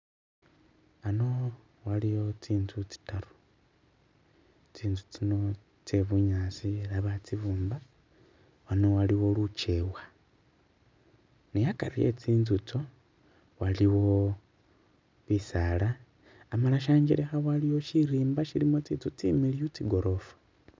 Hano waliwo tsintsu tsitaru tsinzu tsino tse bunyaasi ela batsibumba wano waliwo lugyewa ne akari we tsintsu itsyo waliwo bisaala amala shanjelekha waliwo shirimba shilimo tsintsu tsimiliyu tsigorofa